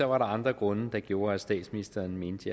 var der andre grunde der gjorde at statsministeren mente